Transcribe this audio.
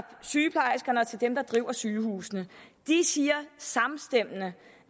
sygeplejerskerne og til dem der driver sygehusene de siger samstemmende